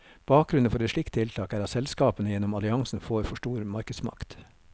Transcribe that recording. Bakgrunnen for et slikt tiltak, er at selskapene gjennom alliansen får for stor markedsmakt.